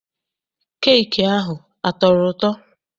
Keeki ahụ a tọrọ ụtọ?